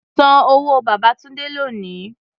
San owó Babátúndé lónìí!